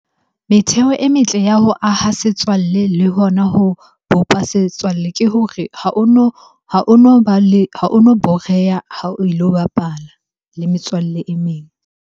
Metheo e metle ya ho aha setswalle le hona ho bopa setswalle ke hore ha ono ba le, ha ono boreha ha o ilo bapala le metswalle e meng.